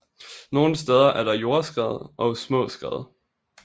Nogle steder er der jordskred og små skred